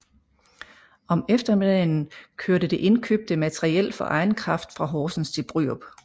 Om eftermiddagen kørte det indkøbte materiel for egen kraft fra Horsens til Bryrup